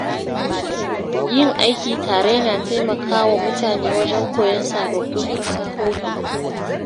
Yin aiki tare yana taimaka wa mutane wajen koyon sababbin fasahohi.